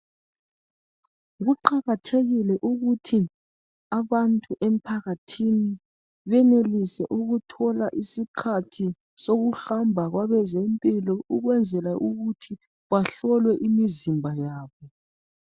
Kuqakathekile ukuthi abantu emphakathini benelise ukuthola isikhathi sokuhamba kwabezempilo ukwenzela ukuthi bahlolwe imizimba yabo.